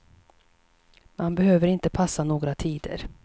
Man behöver inte passa några tider.